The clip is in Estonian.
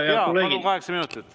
Jaa, palun, kokku kaheksa minutit.